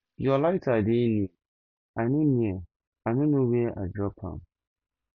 your lighter dey near i no near i no know where i drop my own